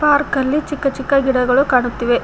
Park ಅಲ್ಲಿ ಚಿಕ್ಕ ಚಿಕ್ಕ ಗಿಡಗಳು ಕಾಣುತ್ತಿವೆ.